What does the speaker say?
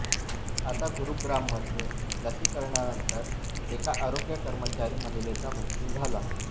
आता गुरुग्राममध्ये लसीकरणानंतर एका आरोग्य कर्मचारी महिलेचा मृत्यू झाला